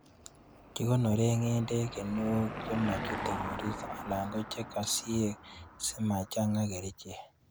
Kikonoren ng'endek kinuok chemochute koristo alan ko chokosiek simachang'a kerichek.